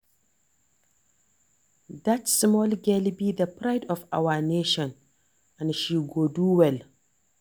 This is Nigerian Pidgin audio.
Dat small girl be the pride of our nation and she go do well